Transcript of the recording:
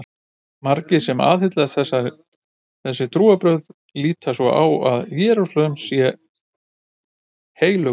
Margir sem aðhyllast þessi trúarbrögð líta svo á að Jerúsalem sé heilög borg.